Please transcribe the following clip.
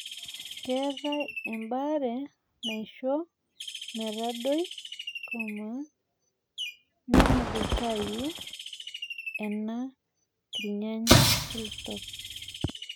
keetae ebaare naisho metadoi ,nemungutayu nena kirnyany.